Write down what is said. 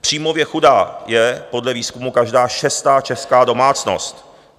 Příjmově chudá je podle výzkumu každá šestá česká domácnost.